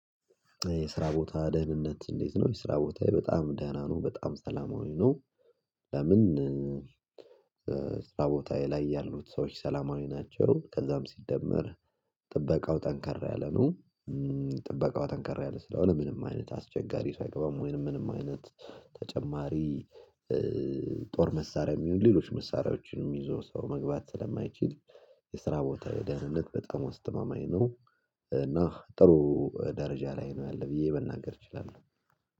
የስራ ቦታ ደህንነት እንዴት ነው? የስራዬ ቦታ በጣም ደህና ነው በጣም ሰላማዊ ነው። ለምን ቦታዬ ላይ ያሉት ሰዎች ሰላማዊ ናቸው። ከዛም ሲደመር ጥበቃው ጠንከር ያለ ነው። ጥበቃው ጠንከር ያለ ስለሆነ ምንም አይነት አስቸጋሪ ሰው አይገባም ወይንም ምንም አይነት ተጨማሪ ጦር መሳሪያ የሚሆን ሌሎች መሳሪያዎችንም ይዞ ሰው መግባት ስለማይችል የስራ ቦታዬ ደህንነት በጣም አስተማማኝ ነው። እና ጥሩ ደረጃ ላይ ነው ያለ ብዬ መናገር እችላለሁ